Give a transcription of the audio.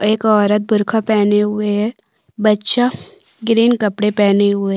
एक ओरत बुरखा पहना हुए है बच्चा ग्रीन कपड़े पहने हुए--